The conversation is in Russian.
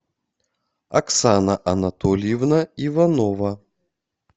оксана анатольевна иванова